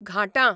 घाटां